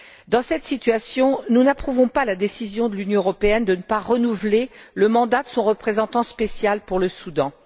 Dans cette situation, nous n'approuvons pas la décision de l'Union européenne de ne pas renouveler le mandat de son représentant spécial pour le Soudan.